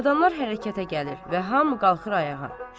Adamlar hərəkətə gəlir və hamı qalxır ayağa.